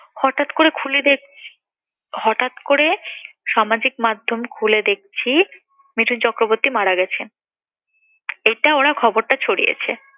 হঠাৎ করে খুলে দেখ~ সামাজিক মাধ্যম খুলে দেখছি মিঠুন চক্রবর্তী মারা গেছে। এটা ওরা খবরটা ছড়িয়েছে।